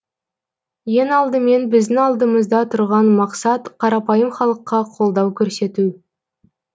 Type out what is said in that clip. ең алдымен біздің алдымызда тұрған мақсат қарапайым халыққа колдау көрсету